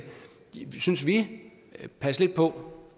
synes vi passe lidt på